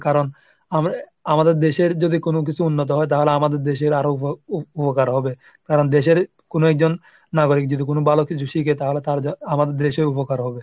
কারণ আ ⁓ আমাদের দেশের যদি কোনো কিছু উন্নত হয় তাহলে আমাদের দেশের আরো উ ⁓ উ ⁓উপকার হবে কারণ দেশের কোনো একজন নাগরিক যদি কোনো ভালো কিছু শিখে তাহলে তার আমাদের দেশেও উপকার হবে।